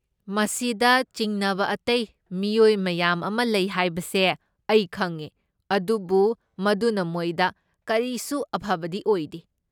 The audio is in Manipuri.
ꯃꯁꯤꯗ ꯆꯤꯡꯅꯕ ꯑꯇꯩ ꯃꯤꯑꯣꯏ ꯃꯌꯥꯝ ꯑꯃ ꯂꯩ ꯍꯥꯏꯕꯁꯦ ꯑꯩ ꯈꯪꯉꯦ, ꯑꯗꯨꯕꯨ ꯃꯗꯨꯅ ꯃꯣꯏꯗ ꯀꯔꯤꯁꯨ ꯑꯐꯕꯗꯤ ꯑꯣꯏꯗꯦ꯫